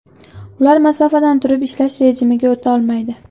Ular masofadan turib ishlash rejimiga o‘ta olmaydi.